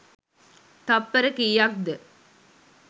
තප්පර කීයක්ද?